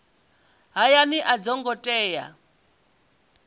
hayani a dzo ngo tea